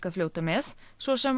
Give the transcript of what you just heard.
að fljóta með svo sem